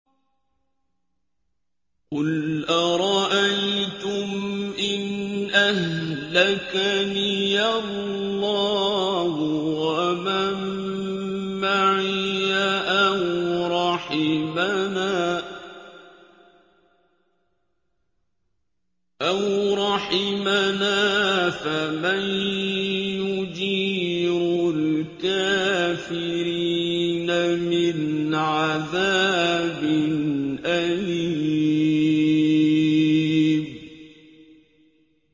قُلْ أَرَأَيْتُمْ إِنْ أَهْلَكَنِيَ اللَّهُ وَمَن مَّعِيَ أَوْ رَحِمَنَا فَمَن يُجِيرُ الْكَافِرِينَ مِنْ عَذَابٍ أَلِيمٍ